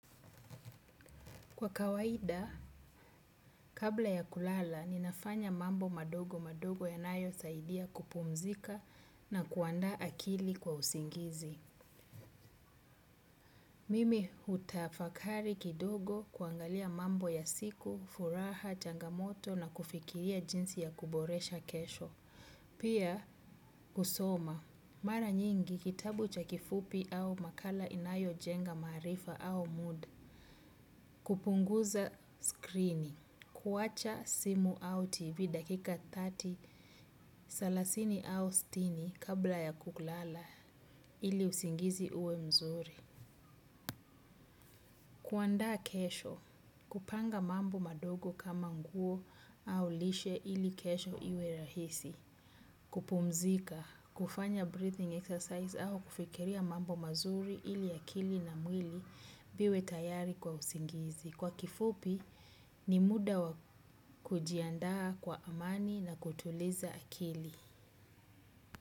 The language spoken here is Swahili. Kwa kawaida, kabla ya kulala, ninafanya mambo madogo madogo yanayo saidia kupumzika na kuanda akili kwa usingizi. Mimi hutafakari kidogo kuangalia mambo ya siku, furaha, changamoto na kufikiria jinsi ya kuboresha kesho. Pia, kusoma. Mara nyingi, kitabu cha kifupi au makala inayojenga marifa au mood. Kupunguza screening. Kuwacha simu au tv dakika salasini au sitini kabla ya kulala ili usingizi uwe mzuri. Kuandaa kesho, kupanga mambo madogo kama nguo au lishe ili kesho iwe rahisi. Kupumzika, kufanya breathing exercise au kufikiria mambo mazuri ili akili na mwili viwe tayari kwa usingizi. Kwa kifupi ni muda wa kujiandaa kwa amani na kutuliza akili.